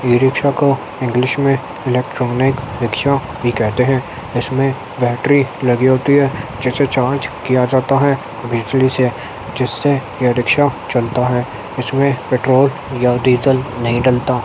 E rickshaw को English में electronic rickshaw भी कहते हैं। इसमें बेट्री लगी होती है जिससे चार्ज किया जाता है। बिजली से जिससे ये रिक्शा चलता है। इसमें पेट्रोल या डीजल नही डलता।